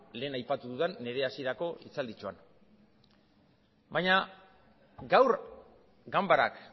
lehen aipatu dudan nire hasierako hitzalditxoan baina gaur ganbarak